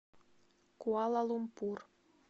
куала лумпур